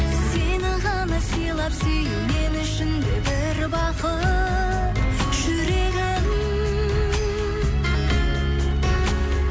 сені ғана сыйлап сүю мен үшін де бір бақыт жүрегім